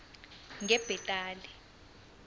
ngebhetali